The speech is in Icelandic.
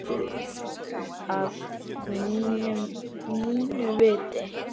Að mínu viti.